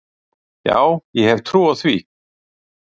Já, ég hef trú á því.